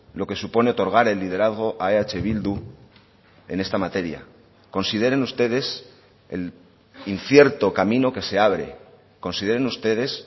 lo que supone otorgar el liderazgo a eh bildu en esta materia consideren ustedes el incierto camino que se abre consideren ustedes